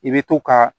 I bɛ to ka